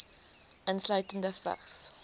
insluitende vigs